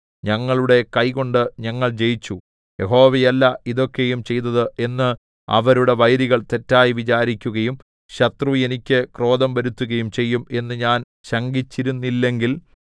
ഞങ്ങളുടെ കൈകൊണ്ട് ഞങ്ങൾ ജയിച്ചു യഹോവയല്ല ഇതൊക്കെയും ചെയ്തത് എന്ന് അവരുടെ വൈരികൾ തെറ്റായി വിചാരിക്കയും ശത്രു എനിക്ക് ക്രോധം വരുത്തുകയും ചെയ്യും എന്ന് ഞാൻ ശങ്കിച്ചിരുന്നില്ലെങ്കിൽ